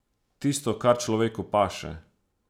Tisto, kar človeku paše.